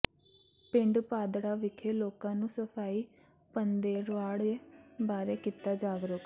ਪਿੰਡ ਭਾਦੜਾ ਵਿਖੇ ਲੋਕਾਂ ਨੂੰ ਸਫ਼ਾਈ ਪੰਦ੍ਹਰਵਾੜੇ ਬਾਰੇ ਕੀਤਾ ਜਾਗਰੂਕ